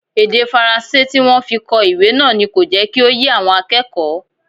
Èdè Faransé tí wọ́n fi kọ ìwé náà ni kò jẹ́ kí ó yé àwọn akẹ́kọ̀ọ́